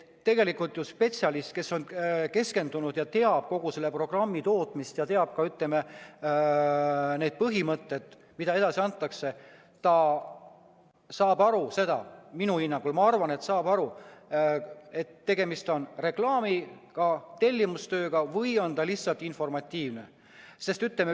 Spetsialist, kes on keskendunud ja teab kogu selle programmi tootmist ja teab ka neid põhimõtted, mida edasi antakse, saab aru – minu hinnangul, ma arvan, et saab aru –, kas tegemist on reklaamiga, tellimustööga või lihtsalt informatiivse looga.